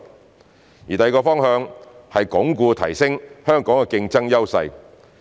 第二個方向是鞏固提升香港的競爭優勢。